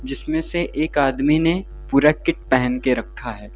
जिसमें से एक आदमी ने पूरा किट पहन के रखा है।